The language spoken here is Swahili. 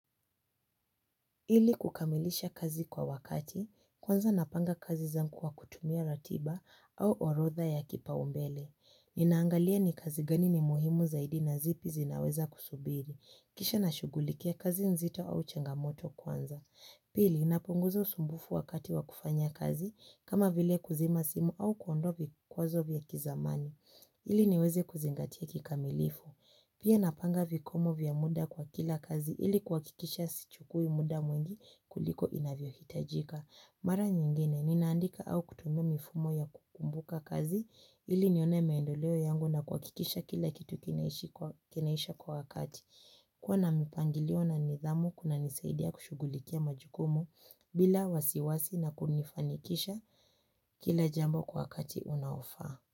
Ili kukamilisha kazi kwa wakati, kwanza napanga kazi zanku kwa kutumia ratiba au orotha ya kipa umbele. Ninaangalia ni kazi gani ni muhimu zaidi na zipi zinaweza kusubiri kisha nashugulikia kazi nzito au changamoto kwanza. Pili, napunguza usumbufu wakati wa kufanya kazi, kama vile kuzima simu au kuondoa vikwazo vya kizamani. Ili niweze kuzingatia kikamilifu. Pia napanga vikomo vya muda kwa kila kazi ili kuakikisha sichukui muda mwingi kuliko inavyohitajika. Mara nyingine ninaandika au kutumia mifumo ya kukumbuka kazi ili nione maeendoleo yangu na kuakikisha kila kitu kinaisha kwa wakati. Kuaa na mipangilio na nidhamu kuna nisaidia kushugulikia majukumu bila wasiwasi na kunifanikisha kila jambo kwa wakati unaofa.